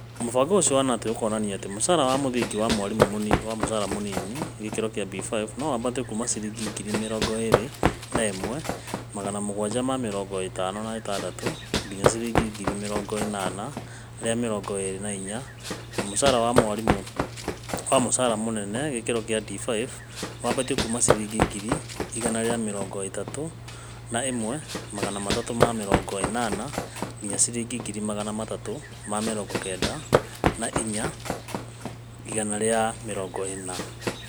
Mũbango ũcio wa Knut ũkuonania atĩ mũcara wa mũthingi wa mwarimũ wa mũcaara mũnini Grade B5 no wambatwo kuuma ciringi ngiri mirongo iri na imwee magana mũgwanja ma mĩrongo ĩtano na ĩtandatu nginya ciringi ngiri mĩrongo ĩnana rĩa mĩrongo ĩrĩ na inya na mũcara wa mwarimũ wa mũcaara mũnene Grade D5 no wambatwo kuuma ciringi ngiri igana rĩa mĩrongo ĩthatũ na ĩmwe magana atatũ ma mĩrongo ĩnana nginya ciringi ngiri magana athatũ ma mĩrongo kenda na ĩna ĩgana rĩa mĩrongo ĩna.